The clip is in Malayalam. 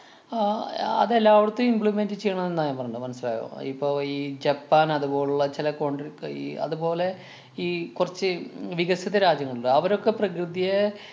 ആഹ് അഹ് അത് എല്ലാവടത്തും implement ചെയ്യണം ന്നാ ഞാന്‍ പറഞ്ഞത് മനസിലായോ? ഇപ്പൊ ഈ ജപ്പാന്‍ അതുപോലുള്ള ചെല conti~ ക്കെയീ അതുപോലെ ഈ കൊറച്ച് ഉം വികസിത രാജ്യങ്ങളുണ്ട്‌. അവരൊക്കെ പ്രകൃതിയെ